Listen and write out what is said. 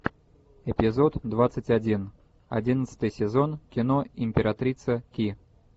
эпизод двадцать один одиннадцатый сезон кино императрица ки